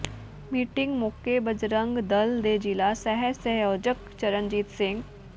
meeting ਮੌਕੇ ਬਜਰੰਗ ਦਲ ਦੇ ਜ਼ਿਲ੍ਹਾ ਸਹਿ ਸੰਯੋਜਕ ਚਰਨਜੀਤ ਸਿੰ